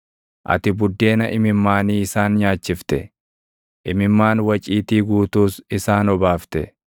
Ati buddeena imimmaanii isaan nyaachifte; imimmaan waciitii guutuus isaan obaafte.